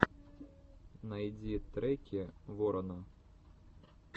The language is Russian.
найди треки ворона